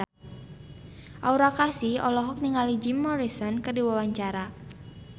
Aura Kasih olohok ningali Jim Morrison keur diwawancara